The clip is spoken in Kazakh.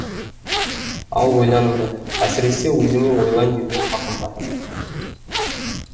ал ойланыңдар әсіресе өзіңе ойлан деуге хақым бар